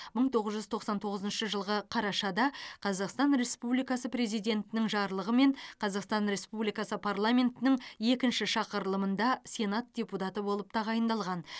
мың тоғыз жүз тоқсан тоғызыншы жылғы қарашада қазақстан республикасы президентінің жарлығымен қазақстан республикасы парламентінің екінші шақырылымында сенат депутаты болып тағайындалған